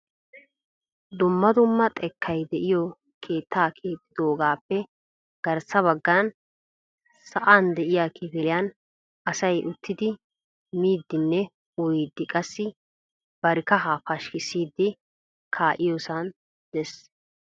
Dumma dumma xekkay de'iyo keetta keexxidoogappe garssa baggan sa'an de'iyaa kifiliyaan asay uttidi miidinne uyyidi qassi bari kahaa pashkkissidi kaa'iyoosay de'ees.